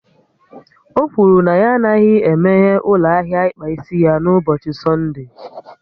O kwuru na ya anaghị emeghe ụlọ ahịa ịkpa isi ya n'ụbọchị Sọnde